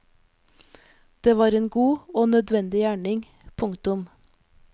Det var en god og nødvendig gjerning. punktum